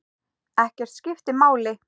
Ekkert skiptir máli.